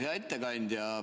Hea ettekandja!